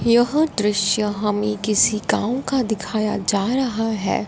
यह दृश्य हमें किसी गांव का दिखाया जा रहा है।